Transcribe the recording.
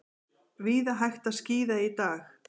Víða hægt að skíða í dag